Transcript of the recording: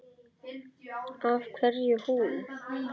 Af hverju hún?